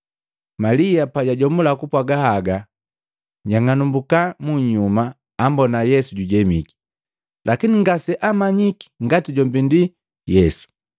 Malia pajajomula kupwaga haga, njang'anumbuka munyuma ambona Yesu jujemiki, lakini ngaseamanyike ngati jombi ndi Yesu.